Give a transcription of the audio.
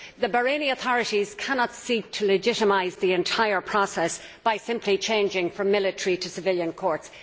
The Bahraini authorities cannot seek to legitimise the entire process simply by changing from military to civilian courts.